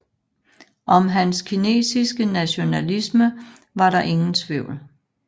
Om hans kinesiske nationalisme var der ingen tvivl